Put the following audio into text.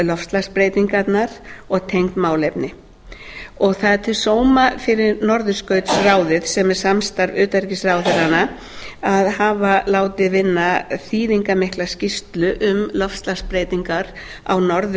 loftslagsbreytingarnar og tengd málefni það er til sóma fyrir norðurskautsráðið sem er samstarf utanríkisráðherranna að hafa látið vinna þýðingarmikla skýrslu um loftslagsbreytingar á